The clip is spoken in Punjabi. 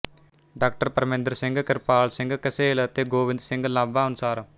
ਡਾ ਪ੍ਰਮਿੰਦਰ ਸਿੰਘ ਕਿਰਪਾਲ ਸਿੰਘ ਕਸੇਲ ਅਤੇ ਗੋਵਿੰਦ ਸਿੰਘ ਲਾਂਬਾ ਅਨੁਸਾਰ